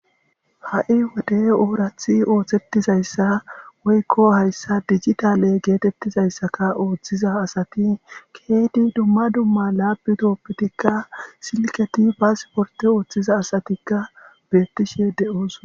Ha'i wode ooraththi ooththetizayssa woykko hayssa digitaale geetetizayssakka ooththiza asati keehidi dumma dumma lapitopetikka silketi pasporte ooththiza asatikka beetishe de'osona.